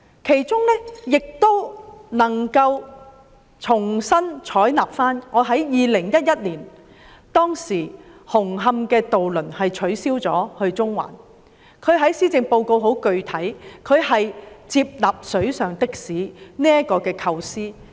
施政報告亦重新採納我在2011年曾提出的建議，當年紅磡至中環的渡輪服務取消，而特首在施政報告具體地接納"水上的士"的構思。